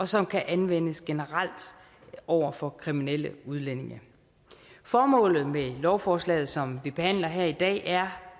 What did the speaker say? som kan anvendes generelt over for kriminelle udlændinge formålet med lovforslaget som vi behandler her i dag er